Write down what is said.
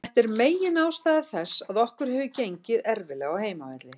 Þetta er megin ástæða þess að okkur hefur gengið erfiðlega á heimavelli.